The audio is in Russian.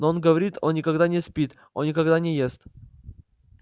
но он говорит он никогда не спит он никогда не ест